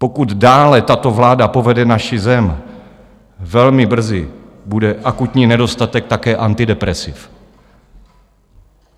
Pokud dále tato vláda povede naši zem, velmi brzy bude akutní nedostatek také antidepresiv.